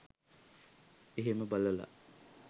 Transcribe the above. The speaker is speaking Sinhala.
එහෙම බලල